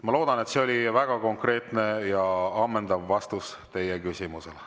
Ma loodan, et see oli väga konkreetne ja ammendav vastus teie küsimusele.